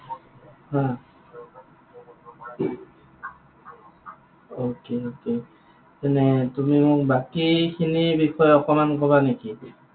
Okay, okay তেনে তুমি মোক বাকী খিনিৰ বিষয়ে অকণমান কবা নেকি?